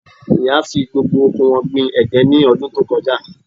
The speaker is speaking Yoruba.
Ìyá fi gbogbo oko wọn gbin ẹ̀gẹ́ ní ọdún tó kọjá